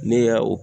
Ne y'a o